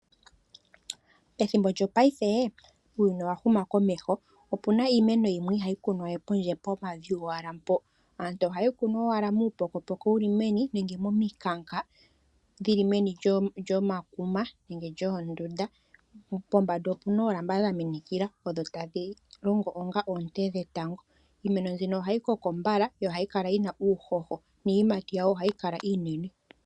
Ethimbo lyongashingeyi uuyuni owahumukomeho opuna iimeno yimwe ihayi kunwa we pondje pomavi gowala mpo. Aantu ohaye yi kunu owala muupokopoko wuli meni nenge momikanka dhili meni lyomankuma nenge lyoondunda. Pombanda opuna oolamba dhaminikila odho tadhi longo onga oonte dhetango. Iimeno mbino ohayi koko mbala yo ohayi kala yina uuhoho niiyimati yawo ohayi kala iinene.